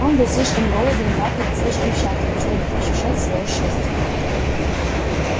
он был слишком голоден дракой и слишком счастлив чтобы ощущать своё счастье